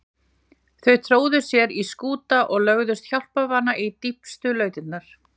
Þau tróðu sér í skúta eða lögðust hjálparvana í dýpstu lautirnar.